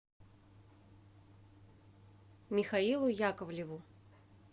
михаилу яковлеву